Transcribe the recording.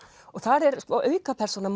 og þar er aukapersóna